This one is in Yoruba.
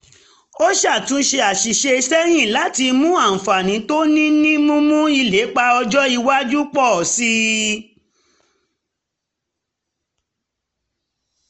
ó ṣàtúnyẹ̀wò àṣìṣe sẹ́yìn láti mú àǹfààní tó ní ní mímú ìlépa ọjọ́ iwájú pọ̀ sí i